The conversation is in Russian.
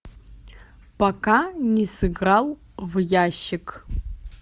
пока не сыграл в ящик